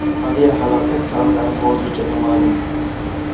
Aviahalokat sabablari hozircha noma’lum.